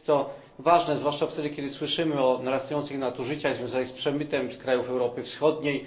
Jest to ważne, zwłaszcza wtedy, kiedy słyszymy o narastających nadużyciach związanych z przemytem z krajów Europy Wschodniej.